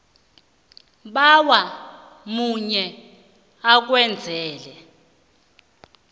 bawa omunye akwenzele